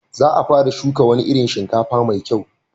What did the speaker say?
Za a fara shuka wani irin shinkafa mai kyau.